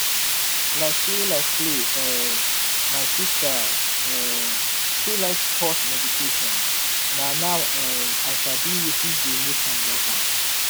like play like play um my sister um too like pause meditation na now um i sabi wetin dey make am love am.